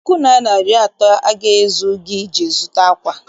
Puku naịra na iri atọ aga-ezu iji zụta ákwà?